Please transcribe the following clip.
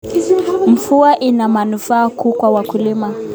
Mvua ina manufaa kuu kwa wakulima